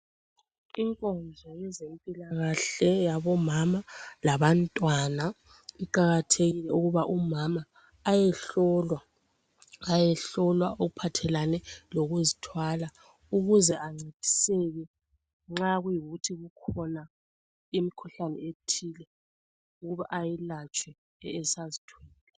Inkonzo yezempilakahle yabomama labantwana kuqakathekile ukuba umama ayehlolwa. Ayehlolwa okuphathelane lokuzithwala ukuze ancediseke nxa kuyikuthi ikhona imikhuhlane ethile okumele ayilatshwe esazithwele .